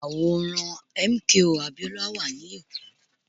Àwòrán MKO Abiola wà ní èkó